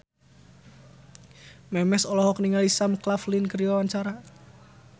Memes olohok ningali Sam Claflin keur diwawancara